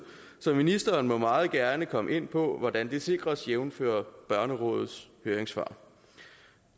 så ministeren må meget gerne komme ind på hvordan det sikres jævnfør børnerådets høringssvar